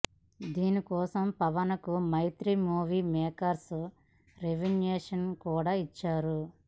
దీనికోసం పవన్ కు Mythri movie makers remuneration కూడా ఇచ్చారు